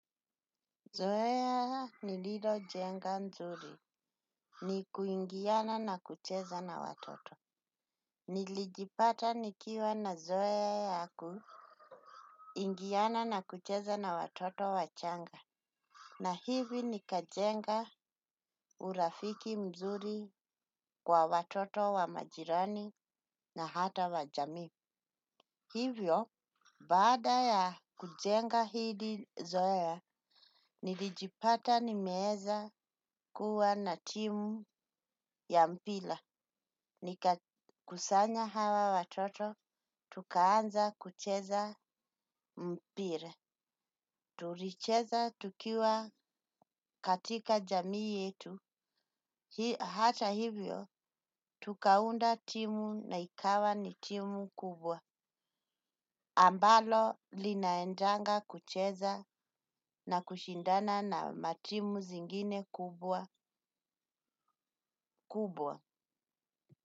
Zoea nililo jenga mzuri ni kuingiana na kucheza na watoto. Nilijipata nikiwa na zoea ya kuingiana na kucheza na watoto wachanga. Na hivi nikajenga urafiki mzuri wa watoto wa majirani na hata wa jamii. Hivyo, baada ya kujenga hili zoea, nilijipata nimeeza kuwa na timu ya mpila. Nikakusanya hawa watoto, tukaanza kucheza mpila. Tulicheza tukiwa katika jamii yetu. Hata hivyo, tukaunda timu na ikawa ni timu kubwa. Ambalo linaendanga kucheza na kushindana na matimu zingine kubwa kubwa.